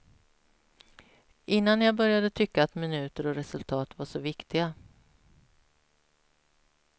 Innan jag började tycka att minuter och resultat var så viktiga.